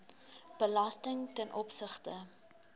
belasting ten opsigte